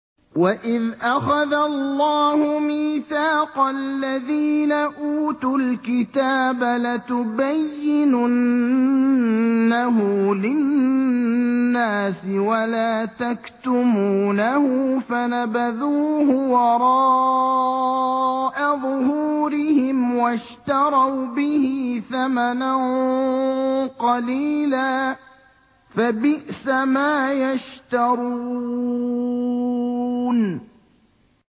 وَإِذْ أَخَذَ اللَّهُ مِيثَاقَ الَّذِينَ أُوتُوا الْكِتَابَ لَتُبَيِّنُنَّهُ لِلنَّاسِ وَلَا تَكْتُمُونَهُ فَنَبَذُوهُ وَرَاءَ ظُهُورِهِمْ وَاشْتَرَوْا بِهِ ثَمَنًا قَلِيلًا ۖ فَبِئْسَ مَا يَشْتَرُونَ